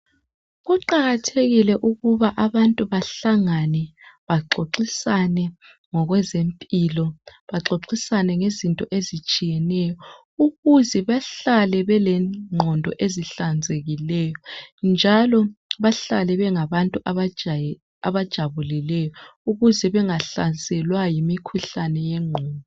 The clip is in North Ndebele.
Kuqakathekile ukuthi abantu bahlangabe baxoxisane ngokwezempilo, baxoxisane ngezinto ezitshiyeneyo ukuze bahlale belenqondo ezihlanzekileyo, njalo bahlale bengabantu abajabulileyo ukuze bengahlaselwa imikhuhlane yengqondo.